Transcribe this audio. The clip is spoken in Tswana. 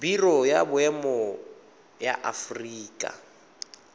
biro ya boemo ya aforika